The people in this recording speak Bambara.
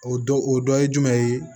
O dɔ o dɔ ye jumɛn ye